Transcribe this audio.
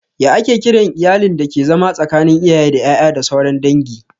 Ya ake kiran iyalin dake zama tsakanin iyaye da ƴaƴa da sauran dangi?